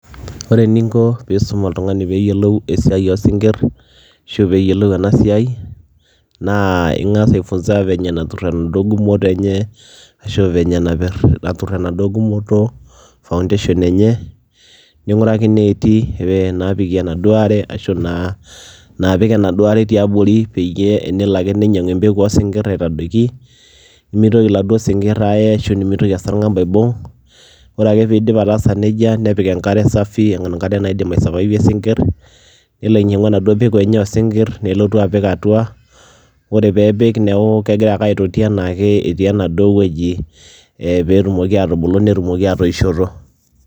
Ore eninko piisum oltung'ani peeyiolou esiai oo sinkir ashu peeyiolou ena siai naa ing'as aifunza venye natur enaduo gumoto enye ashu venye napir natur enaduo gumoto foundation enye, ning'uraki neeti naapikie enaduo are ashu naa naapik enaduo are tiabori peyie enelo ake ninyang'u empeku oo sinkir aitadoiki nemitoki laduo sinkir aaye ashu nemitoki esarng'ab aibung' . Ore ake piidip ataasa neija nepik enkare safi enkare naidim aisurvivie sinkir, nelo ainyang'u enaduo peku enye oo sinkir nelotu apik atua, ore peepik neeku kegira ake aitoti enaake etii enaduo wueji ee peetumoki aatubulu netumoki atoishoto.